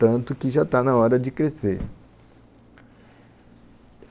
Tanto que já está na hora de crescer.